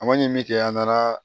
A ma ɲinini kɛ an nana